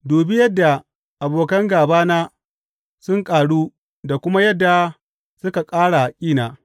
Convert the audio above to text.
Dubi yadda abokan gābana sun ƙaru da kuma yadda suka ƙara ƙina!